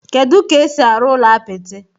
Kedu ka esi arụ ụlọ apịtị?